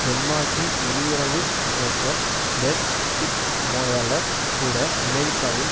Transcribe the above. டென்மார்க்கின் வெளியுறவு அமைச்சர் Per Stig Moller கூட அமெரிக்காவின்